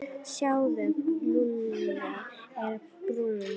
Sjáðu, Lúlli er brúnn.